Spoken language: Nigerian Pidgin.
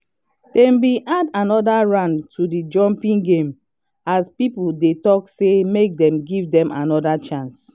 dem been add another round to the jumping game as people dey talk say make dem give dem another chance